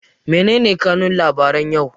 Mene ne kanun labaran yau?